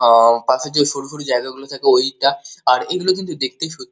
আ- পাশে যে শরু শরু জায়গা গুলো থাকে ঐটা আর এগুলো কিন্তু দেখতে সত্যি।